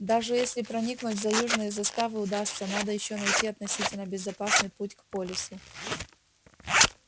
даже если проникнуть за южные заставы удастся надо ещё найти относительно безопасный путь к полису